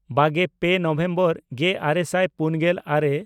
ᱵᱟᱜᱮᱼᱯᱮ November ᱜᱮᱼᱟᱨᱮ ᱥᱟᱭ ᱯᱩᱱᱜᱮᱞ ᱟᱨᱮ